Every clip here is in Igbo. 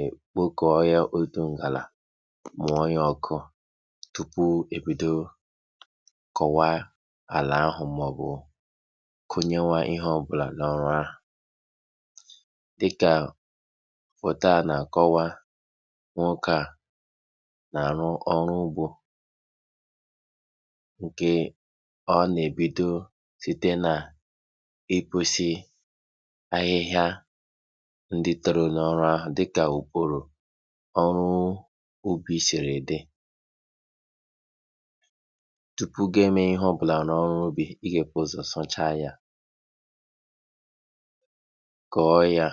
ekpoko ya, mmụọ ya oku tupu ebido kọwaa ala ahụ ma ọ bụ kụọnye ihe ọ bụla na ala ahụ dị ka foto na-akọwa na arụ ọrụ ugbo. Ndị toro na ubi siri dị tupu ị mee ihe ọ bụla na ọrụ ubi, ị ga-ebúzò sachaa ya, koo ya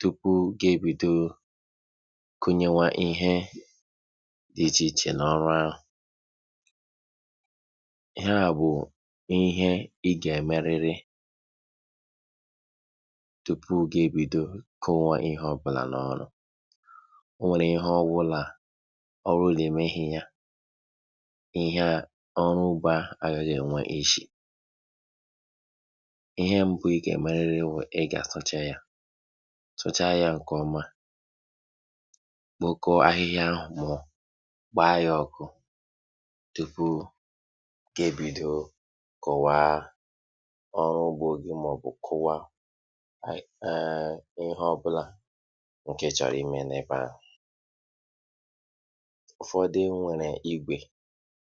tupu ibido kọwaa ihe dị iche iche na ọrụ, kọwaa ihe ọ bụla agaghị enwe isi. Ihe mbu ị ga-eme bụ ị ga-asachaa ya ofụma, gbaa ya oku nke ịchọrọ ime na ebe ahụ. Ụfọdụ nwere íbé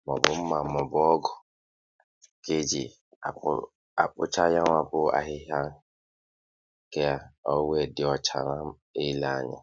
ma ọ bụ mma ma ọ bụ ogù eji ile anya.